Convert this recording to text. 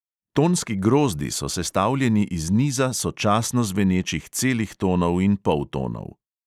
Tonski grozdi so sestavljeni iz niza sočasno zvenečih celih tonov in poltonov.